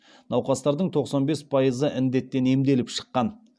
науқастардың тоқсан бес пайызы індеттен емделіп шыққан